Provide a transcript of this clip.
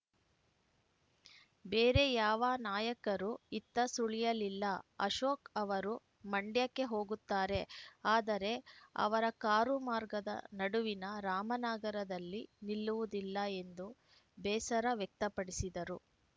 ಬೇರೆ ಯಾವ ನಾಯಕರೂ ಇತ್ತ ಸುಳಿಯಲಿಲ್ಲ ಅಶೋಕ್‌ ಅವರು ಮಂಡ್ಯಕ್ಕೆ ಹೋಗುತ್ತಾರೆ ಆದರೆ ಅವರ ಕಾರು ಮಾರ್ಗದ ನಡುವಿನ ರಾಮನಗರದಲ್ಲಿ ನಿಲ್ಲುವುದಿಲ್ಲ ಎಂದು ಬೇಸರ ವ್ಯಕ್ತಪಡಿಸಿದರು